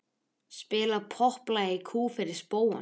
Spila popplag í kú fyrir spóann.